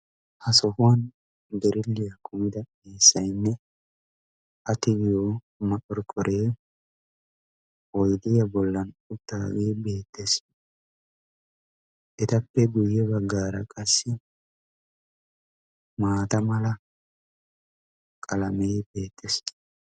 Ha sohuwan birilliya kumida eessayinne a tigiyo maqorqqore oyidiya bollan uttaagee beettees. Etappe guyye baggaara qassi maata mala qalamee beettees.